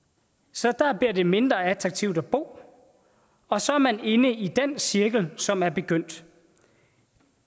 så der bliver det mindre attraktivt at bo og så er man inde i den cirkel som er begyndt